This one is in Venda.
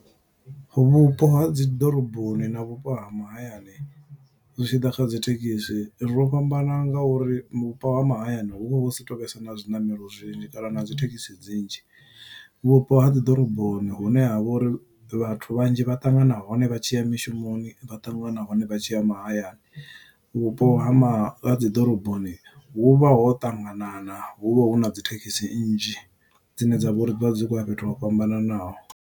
Vhupo ha dzi ḓoroboni na vhupo ha mahayani zwi tshi ḓa kha dzithekisi, ro fhambana nga uri vhupo ha mahayani hu vha hu si to vhesa na zwiṋamelo zwinzhi kana na dzi thekhisi dzinzhi. Vhupo ha dziḓoroboni hune ha vha uri vhathu vhanzhi vha ṱangana hone vha tshi ya mishumoni, vha ṱangana hone vha tshi ya mahayani. Vhupo ha ma ha dzi ḓoroboni hu vha ho ṱanganana, hu vha hu na dzithekhisi nnzhi, dzine dzavha uri dzivha dzi khou ya fhethu ho fhambananaho.